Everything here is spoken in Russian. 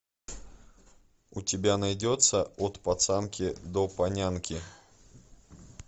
у тебя найдется от пацанки до панянки